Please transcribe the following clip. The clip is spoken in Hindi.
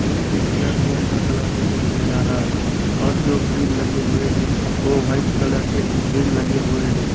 ये एक प्लेटफार्म का कलर दिखाई दे रहा है और जो ग्रिल लगे हुए हैं वो व्हाइट कलर के जो ग्रिल लगे हुए हैं।